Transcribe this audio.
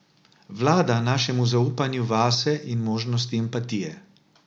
Vlada našemu zaupanju vase in možnosti empatije.